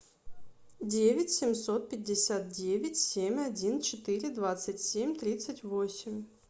девять семьсот пятьдесят девять семь один четыре двадцать семь тридцать восемь